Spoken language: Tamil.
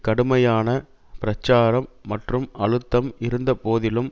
கடுமையான பிரச்சாரம் மற்றும் அழுத்தம் இருந்த போதிலும்